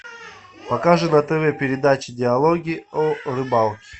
покажи на тв передачу диалоги о рыбалке